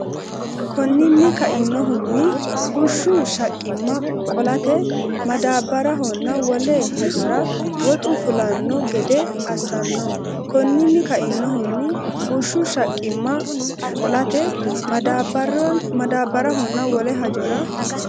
Konninni kainohunni, bushshu shaqqimma qolate maddaabbarhonna wole hajora woxu fulanno gede assanno Konninni kainohunni, bushshu shaqqimma qolate maddaabbarhonna wole hajora.